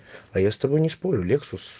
а я с тобой не спорю лексус